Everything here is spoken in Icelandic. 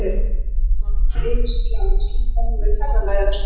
Auk þess var hann yfir sig glaður að sleppa nú við ferðalagið að Strönd.